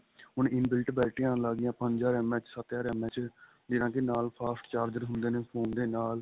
ਹੁਣ inbuilt ਬੈਟਰੀਆਂ ਆਣ ਲੱਗ ਗਿਆ ਪੰਜ ਹਜ਼ਾਰ MH ਸੱਤ ਹਜ਼ਾਰ MH ਜਿਹਨਾ ਦੇ ਨਾਲ fast charger ਹੁੰਦੇ ਨੇ phone ਦੇ ਨਾਲ